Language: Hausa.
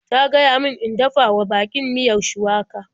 Ta gaya min in dafa wa baƙin miyar shuwaka.